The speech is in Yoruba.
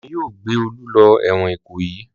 Wọn yóò gbé Olú lọ ẹ̀wọ̀n Ìkòyí.